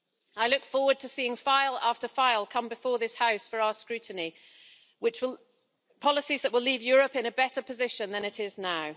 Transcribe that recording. I look forward to seeing file after file come before this House for our scrutiny, policies that will leave Europe in a better position than it is in now.